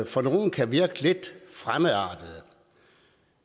for nogle kan virke lidt fremmedartede